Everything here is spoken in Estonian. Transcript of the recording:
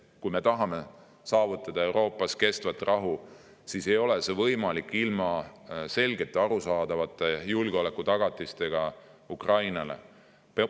Kui me tahame saavutada Euroopas kestvat rahu, siis ei ole see võimalik ilma selgete, arusaadavate julgeolekutagatisteta Ukrainale.